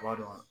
B'a dɔn